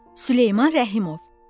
Süleyman Rəhimov.